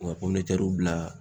U ka bila